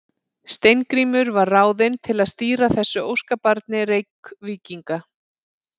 Steingrímur var ráðinn til að stýra þessu óskabarni Reykvíkinga.